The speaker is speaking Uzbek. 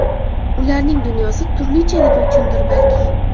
Ularning dunyosi turlichaligi uchundir, balki.